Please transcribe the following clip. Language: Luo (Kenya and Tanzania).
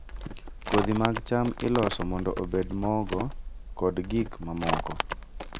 Kodhi mag cham iloso mondo obed mogo kod gik mamoko.